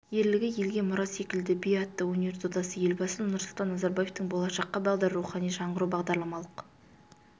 ерлігі елге мұра ескелді би атты өнер додасы елбасы нұрсұлтан назарбаевтың болашаққа бағдар рухани жаңғыру бағдарламалық